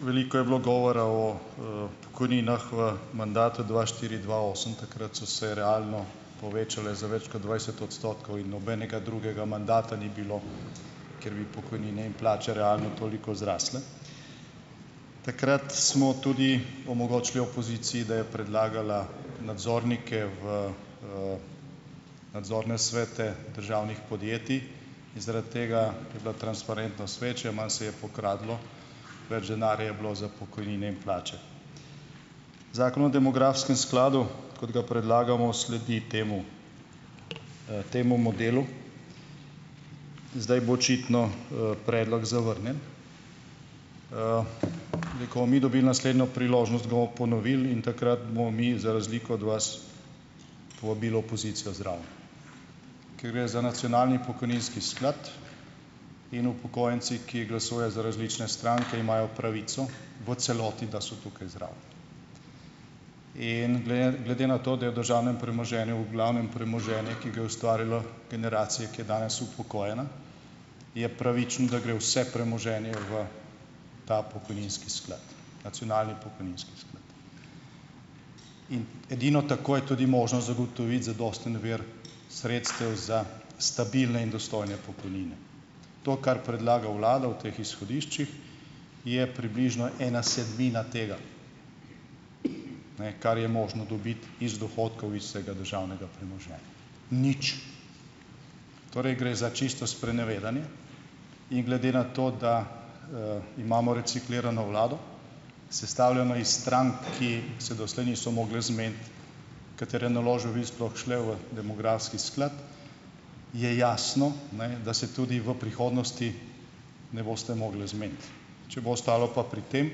veliko je bilo govora o, pokojninah v mandatu dva štiri-dva osem. Takrat so se realno povečale za več kot dvajset odstotkov in nobenega drugega mandata ni bilo, kjer bi pokojnine in plače realno toliko zrasle. Takrat smo tudi omogočili opoziciji, da je predlagala nadzornike v, nadzornem svete državnih podjetij. In zaradi tega je bila transparentnost večja, malo se je pokradlo, več denarja je bilo za pokojnine in plače. Zakon o demografskem skladu, kot ga predlagamo, sledi temu, temu modelu. Zdaj bo očitno, predlog zavrnjen. in ko bomo mi dobili naslednjo priložnost, ga bomo ponovili in takrat bomo mi za razliko od vas povabili opozicijo zraven. Ker gre za nacionalni pokojninski sklad, in upokojenci, ki glasujejo za različne stranke, imajo pravico v celoti, da so tukaj zraven. In glede na to, da je v državnem premoženju v glavnem premoženje , ki ga je ustvarila generacija, ki je danes upokojena, je pravičen, da gre vse premoženje v ta pokojninski sklad. Nacionalni pokojninski sklad. In edino tako je tudi možno zagotoviti zadosten vir sredstev za stabilne in dostojne pokojnine . To, kar predlaga vlada v teh izhodiščih je približno ena sedmina tega, ne, kar je možno dobiti iz dohodkov iz vsega državnega premoženja. Nič. Torej, gre za čisto sprenevedanje in glede na to, da, imamo reciklirano vlado, sestavljeno iz strank, ki se doslej niso mogle zmeniti, katere naložbe bi sploh šle v demografski sklad. Je jasno, ne, da se tudi v prihodnosti ne boste mogli zmeniti. Če bo ostalo pa pri tem,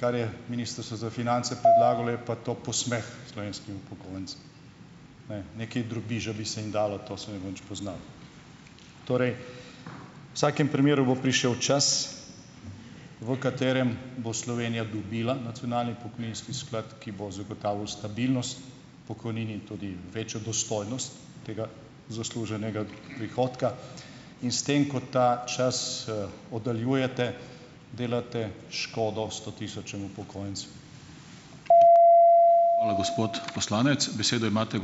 kar je Ministrstvo za finance predlagalo , je pa to posmeh slovenskim upokojencem. Ne, nekaj drobiža bi se jim dalo, to se ne bo nič poznalo. Torej, vsakem primeru bo prišel čas, v katerem bo Slovenija dobila nacionalni poklicni sklad, ki bo zagotavljal stabilnost pokojnin in tudi večjo dostojnost tega zasluženega prihodka in s tem, ko ta čas, oddaljujete, delate, delate škodo sto tisočim upokojencem. Hvala, gospod poslanec. Besedo imate ...